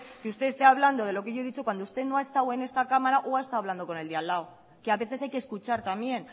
que usted esté hablando de lo que yo he dicho cuando usted no ha estado en esta cámara o ha estado hablando con el de al lado que a veces hay que escuchar también